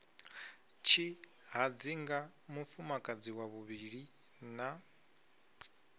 tshihadzinga mufumakadzi wa vhuvhili na